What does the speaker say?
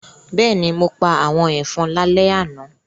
Bẹ́ẹ̀ni, mo pa àwọn ẹ̀fọn lálẹ́ àná